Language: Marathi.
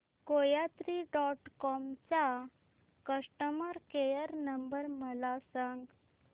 कोयात्री डॉट कॉम चा कस्टमर केअर नंबर मला सांगा